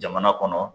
Jamana kɔnɔ